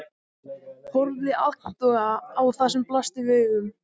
Horfði agndofa á það sem blasti við augum.